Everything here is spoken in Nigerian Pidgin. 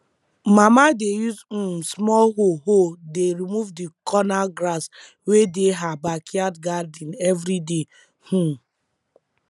mama dey use um small hoe hoe dey remove the corner grass wey dey her backyard garden every day um